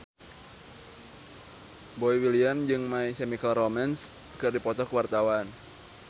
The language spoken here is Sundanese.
Boy William jeung My Chemical Romance keur dipoto ku wartawan